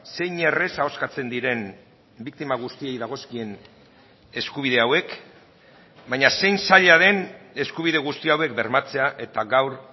zein erraz ahoskatzen diren biktima guztiei dagozkien eskubide hauek baina zein zaila den eskubide guzti hauek bermatzea eta gaur